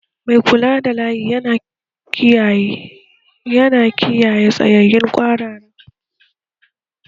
Mai kula da layi yana taimakawa wurin kiyaye tsayayyen kwarara